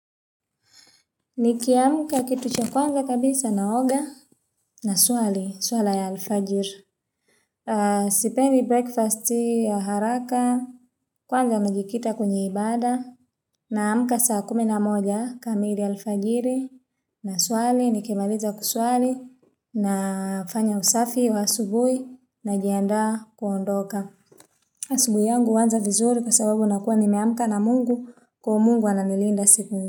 Niki amka kitu cha kwanza kabisa na oga na swali, swala ya alfajiri. Sipendi breakfast hii ya haraka, kwanza najikita kwenya ibada. Na amka saa kuminamoja kamili alfajiri na swali, nikimaliza kuswali na fanya usafi wa asubuhi na jianda kuondoka. Asubuhi yangu huanza vizuri kwa sababu nakuwa nime amka na mungu kwa mungu ananilinda siku.